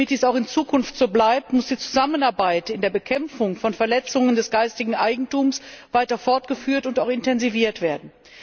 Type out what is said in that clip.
Und damit dies auch in Zukunft so bleibt, muss die Zusammenarbeit bei der Bekämpfung von Verletzungen des geistigen Eigentums weiter fortgeführt und auch intensiviert werden.